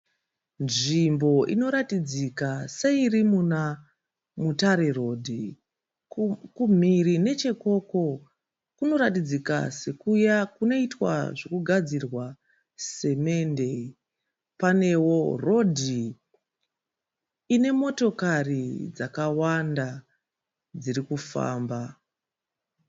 Nzvimbo inoratidzika seiri muna Mutare rodhi. Kumhiri nechekoko kunoratidzika sekuya kunoitwa zvogadzirwa simende. Panewo rodhi ine motokari dzakawanda dziri kufamba.